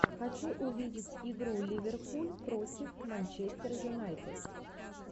хочу увидеть игру ливерпуль против манчестера юнайтед